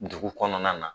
Dugu kɔnɔna na